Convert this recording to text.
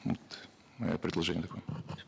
вот мое предложение такое